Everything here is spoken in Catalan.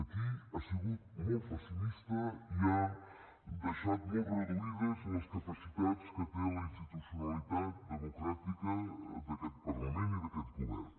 aquí ha sigut molt pessimista i ha deixat molt reduïdes les capacitats que té la institucionalitat democràtica d’aquest parlament i d’aquest govern